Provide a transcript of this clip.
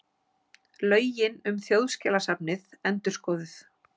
Lögin um Þjóðskjalasafnið endurskoðuð